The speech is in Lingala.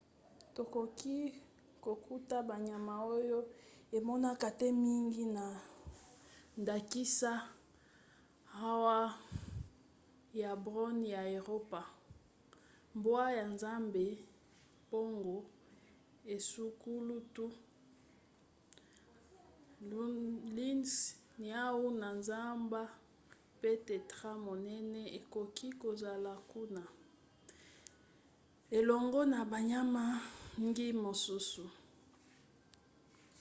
tokoki kokuta banyama oyo emonaka te mingi na ndakisa ours ya brun ya eropa mbwa ya zamba mpongo esungulutu lynx niau ya zamba pe tétras monene ekoki kozola kuna elongo na banyama mngi mosusu